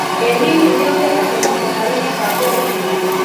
Ĩ hihi nĩ ũtete mwĩhoko harĩ mũbango ũcio?